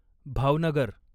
Bhavnagar